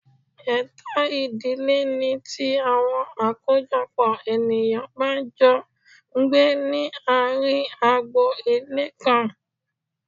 Ètò ìdílé ní tí àwọn àkójọpò ènìyàn bá n jọ n gbé ní àárín agbo Ilé kan